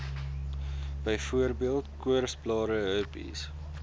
byvoorbeeld koorsblare herpes